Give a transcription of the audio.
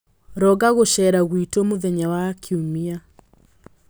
Ronga gũceera gwitũ mũthenya wa Kiumia.